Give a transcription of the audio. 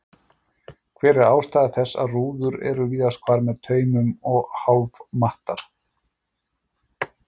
Hver er ástæða þess að rúður eru víðast hvar með taumum og hálf mattar?